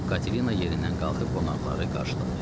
Katelina yerindən qalxıb qonaqları qarşıladı.